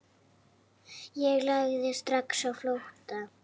Ég lagði strax á flótta.